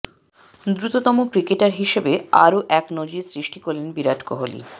দ্রুততম ক্রিকেটার হিসেবে আরও এক নজির সৃষ্টি করলেন বিরাট কোহলি